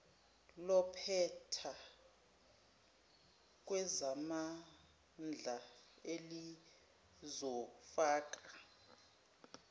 lompetha kwezamandla elizofaka